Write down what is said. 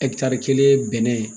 kelen ye bɛnɛn